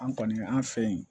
An kɔni an fɛ yen